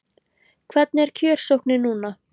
Hvernig er kjörsóknin núna?